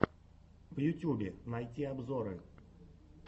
в ютьюбе найти обзоры